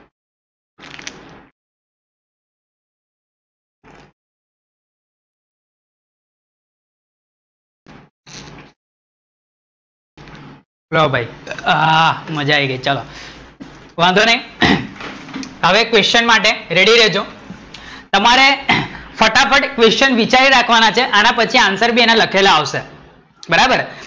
ચલો ભઈ, આહ માજા આયી ગઈ, વાંધો નાઈ, હવે equation માટે ready રેજો, તમારે ફટાફટ equation વિચારી રાખવાંના છે આના પછી answer લખેલા આવશે, બરાબર